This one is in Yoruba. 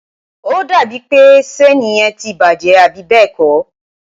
ó dàbí ń pé ṣéèni yẹn ti bàjẹ́, àbí bẹ́ẹ̀ kọ́?